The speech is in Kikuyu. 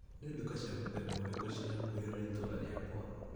Nĩ nduka cia mũthemba ũrikũ ciĩ hakuhĩ na itũra rĩakwa .